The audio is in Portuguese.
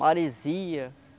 Maresia.